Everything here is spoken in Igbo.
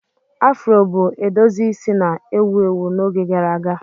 Afro bụ edozi isi na-ewu ewu n'oge gara aga.